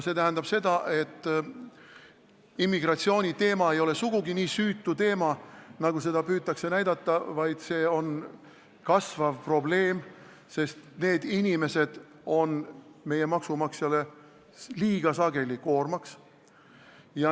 See tähendab, et immigratsiooniteema ei ole sugugi nii süütu, nagu püütakse näidata, vaid see on kasvav probleem, sest need inimesed on meie maksumaksjale liiga sageli koormaks.